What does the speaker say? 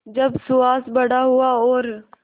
जब सुहास बड़ा हुआ और